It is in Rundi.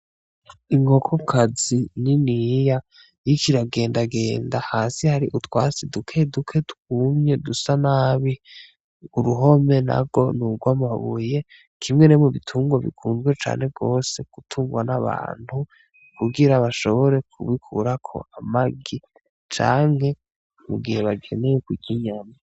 Inkoko kazi nyiniya y'ikiragendagenda hasi hari utwasi duke duke twumye dusa nabi uruhome na ro ni uro amuhabuye kimwe nemu bitungo bikunzwe cane rwose kutungwa n'abantu kugira bashobore kubikurako amagi canje e mu gihe bageneye ku kinyama.